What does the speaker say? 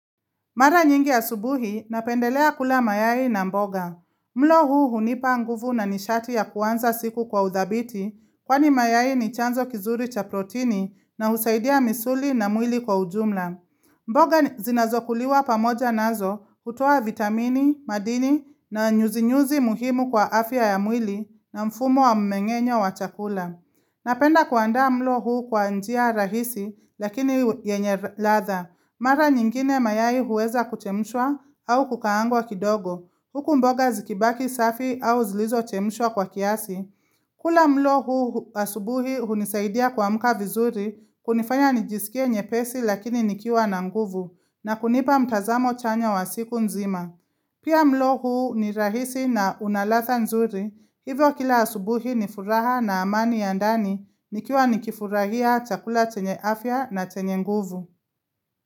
Mara nyingi asubuhi. Napendelea kula mayai na mboga. Mlo huu, hunipa nguvu na nishati ya kuanza siku kwa uthabiti, kwani mayai ni chanzo kinzuri cha protini na husaidia misuli na mwili kwa ujumla. Mboga ni zinazokuliwa pamoja nazo. Hutoa vitamini, madini na nyuzi-nyuzi muhimu kwa afya ya mwili na mfumo wa mumeg`enyo wa chakula. Napenda kuaanda mlo huu kwa njia rahisi. Lakini u yenye e ladha. Mara nyingine, mayai huweza kuchemshwa au kukaagwa kidogo. Huku mboga zikibaki safi au zilizochemshwa kwa kiasi. Kula mlo huu u asubuhi hunisaidia kuamka vizuri kunifanya nijisikie nyepesi lakini nikiwa na nguvu na kunipa mtazamo chanya wa siku nzima. Pia, mlo huu ni rahisi na unaladha nzuri. Hivyo, kila asubuhi nifuraha na amani ya ndani. Nikiwa nikifurahia chakula chenye afya na chenye nguvu.